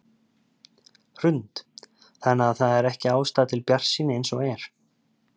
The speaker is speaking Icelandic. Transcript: Hrund: Þannig að það er ekki ástæða til bjartsýni eins og er?